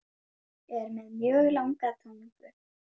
Er með mjög langa tungu.